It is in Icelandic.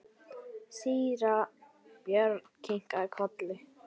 Síra Björn kinkaði kolli.